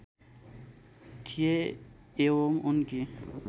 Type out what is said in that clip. थिए एवं उनकी